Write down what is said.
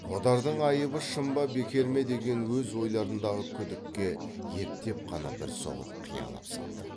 қодардың айыбы шын ба бекер ме деген өз ойларындағы күдікке ептеп қана бір соғып қиялап салды